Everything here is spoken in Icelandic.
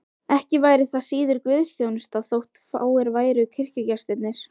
Ekki væri það síður guðsþjónusta þótt fáir væru kirkjugestirnir.